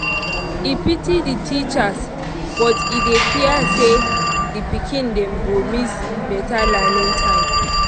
e pity the teachers but e dey fear say the pikin dem go miss better learning time.